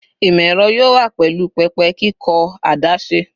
Imọ-ẹrọ yoo wa pẹlu pẹpẹ kikọ adaṣe